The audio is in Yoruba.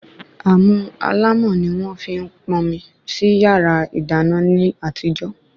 Àmù alámọ̀ ni wọ́n fi ń pọnmi sí yàrá ìdáná ní àtijọ́